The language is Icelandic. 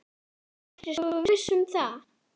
Ertu svo viss um það?